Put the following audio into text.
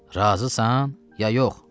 Razısan ya yox?